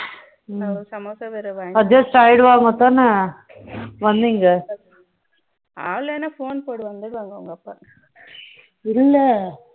adjust ஆயிட்டு வாங்க தானே